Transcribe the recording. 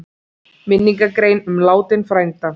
Minningargrein um látinn frænda?